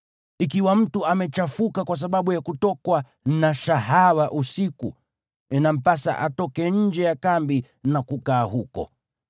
Ikiwa mtu amechafuka kwa sababu ya kutokwa na shahawa usiku, inampasa atoke nje ya kambi na kukaa huko.